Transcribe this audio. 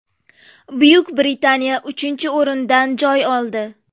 Buyuk Britaniya uchinchi o‘rindan joy oldi.